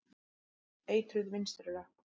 Eitruð vinstri löpp.